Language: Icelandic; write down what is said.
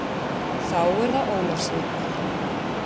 Þá er það Ólafsvík.